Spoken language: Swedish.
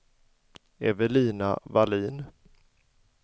Evelina Wallin